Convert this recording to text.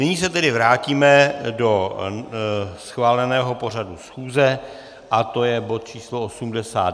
Nyní se tedy vrátíme do schváleného pořadu schůze a je to bod číslo